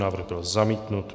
Návrh byl zamítnut.